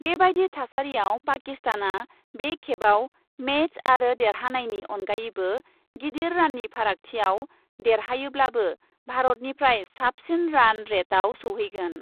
बेबादि थासारिआव पाकिस्तानआ बे खेबआव मेच आव देरहानायनि अनगायैबो गिदिर राननि फारागथियाव दे रहायोब्लाबो भारतनिफ्राय साबसिन रान रेटआव सौहैगोन ।